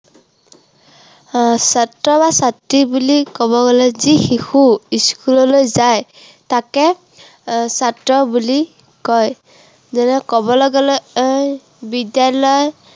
আহ ছাত্ৰ বা ছাত্ৰী বুলি ক'ব গলে যি শিশু school লৈ যায় তাকে এৰ ছাত্ৰ বুলি কয়। যেনে ক'বলে এৰ বিদ্য়ালয়